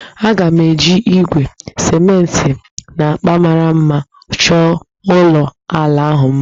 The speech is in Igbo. Aga m eji igwe, simenti, na agba mara mma chọọ ụlọ ala ahụ mma